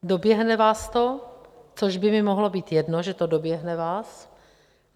Doběhne vás to, což by mi mohlo být jedno, že to doběhne vás.